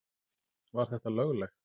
Var þetta löglegt?